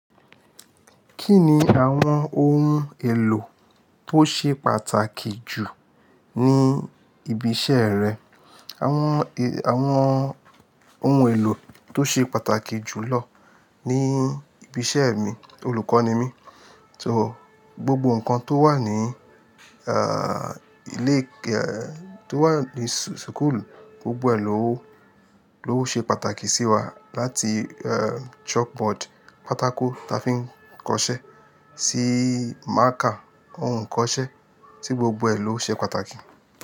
Kí ni àwọn ohun èlò tó ṣe pàtàkì jù ní ibi iṣẹ́ rẹ? Àwọn, àwọn oun èlò tó ṣe pàtàkì jùlọ ní ibi iṣẹ́ mi, olùkọ́ ni mí, so gbogbo nǹkan tó wà ní, a, ilé, ẹ, tó wà ní school, gbogbo ẹ̀ ló, ló ṣe pàtàkì sí wa. Lati, ẹ, chalk board, pátákó tí a fi ń kọṣẹ́, sí marker oun kọṣẹ́, sí gbogbo ẹ̀ ló ṣe pàtàkì.